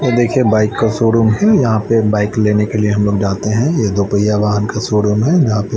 और देखिए बाइक का शोरूम है यहां पे बाइक लेने हम लोग जाते हैं यह दो पहिया वाहन का शोरूम हैं यहां पे --